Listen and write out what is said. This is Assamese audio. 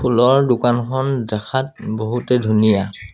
ফুলৰ দোকানখন দেখাত বহুতে ধুনীয়া।